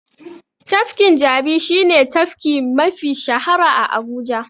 Tafkin Jabi shi ne tafki mafi shahara a Abuja.